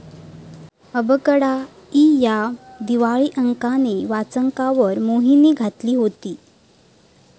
अबकडा' इ या दिवाळी अंकाने वाचकांवर मोहिनी घातली होती.